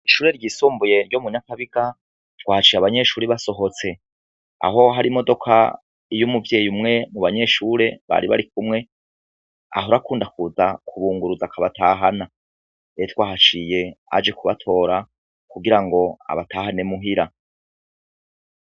Ishure ryisumbuye ryo munyakabiga twahaciye abanyeshuri basohotse aho hari imodoka iyo umuvyeyi umwe mu banyeshure bari barikumwe aho arakunda kubunguruza akabatahana wahaciye aje kubatora kugira ngo abatahane muhira.